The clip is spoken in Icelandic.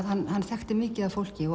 hann þekkti mikið af fólki